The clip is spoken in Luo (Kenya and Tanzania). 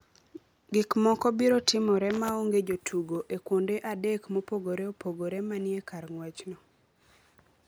Gik moko biro timore maonge jotugo e kuonde adek mopogore opogore ma ni e kar ng’wechno.